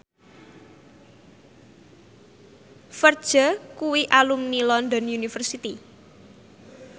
Ferdge kuwi alumni London University